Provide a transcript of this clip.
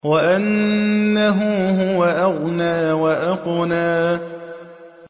وَأَنَّهُ هُوَ أَغْنَىٰ وَأَقْنَىٰ